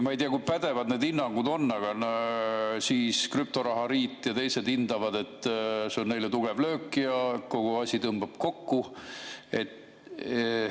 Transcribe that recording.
Ma ei tea, kui pädevad need hinnangud on, aga krüptoraha liit ja teised hindavad, et see on neile tugev löök ja kogu asi tõmbub kokku.